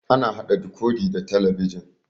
Ana haɗa dikodi da talabijin